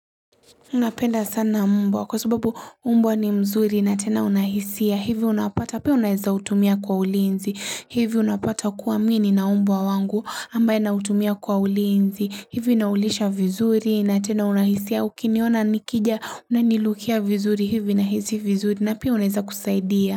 Napenda sana mbwa kwa subabu mbwa ni mzuri na tena una hisia hivi unapata pia unaweza utumia kwa ulinzi hivi unapata kuwa mimi nina mbwa wangu ambaye nautumia kwa ulinzi. Hivi naulisha vizuri na tena una hisia, ukiniona nikija unanirukia vizuri hivi nahisi vizuri na pia unaweza kusaidia.